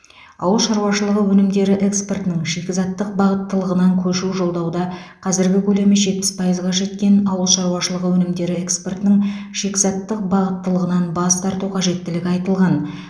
ауыл шаруашылығы өнімдері экспортының шикізаттық бағыттылығынан көшу жолдауда қазірде көлемі жетпіс пайызға жеткен ауыл шаруашылығы өнімдері экспортының шикізаттық бағыттылығынан бас тарту қажеттігі айтылған